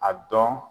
A dɔn